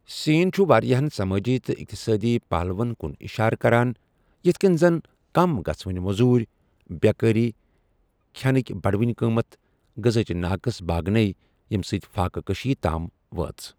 سین چھُ وارِیاہن سمٲجی تہٕ اِقتصٲدی پہلوُہن كُن اِشارٕ كران ، یِتھہٕ كٕنہِ زن كم گژھوٕنہِ مو٘زوٗرِ ، بے٘كٲری ، كھینٕكہِ بڈوٕنہِ قٕمتھ ، غزاہچہِ ناقٕص باگنیہ، ییمہِ سۭتۍ فاقہٕ كشی تام وٲژ۔